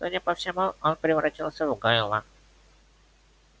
судя по всему он превратился в гойла